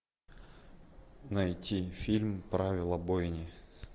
найти фильм правила бойни